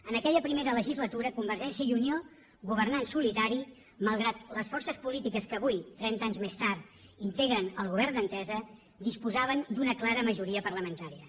en aquella primera legislatura convergència i unió governà en solitari malgrat que les forces polítiques que avui trenta anys més tard integren el govern d’entesa disposaven d’una clara majoria parlamentària